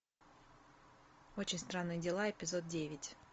очень странные дела эпизод девять